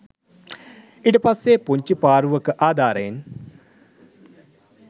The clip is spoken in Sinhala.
ඊටපස්සෙ පුංචි පාරුවක ආධාරයෙන්